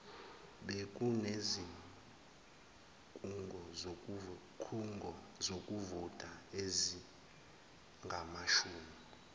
bekunezikhungo zokuvota ezingamashumi